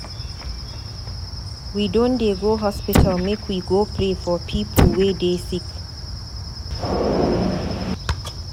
We don dey go hospital make we go pray for pipu wey dey sick.